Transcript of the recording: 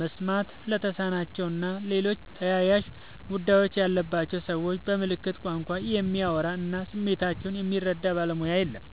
መስማት ለተሳናቸው እና ሌሎች ተያያዥ ጉዳት ያለባቸውን ሰዎች በምልክት ቋንቋ የሚያወራ እና ስሜታቸውን የሚረዳ ባለሙያ የለም።